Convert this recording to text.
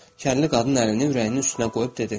Kərli qadın əlini ürəyinin üstünə qoyub dedi: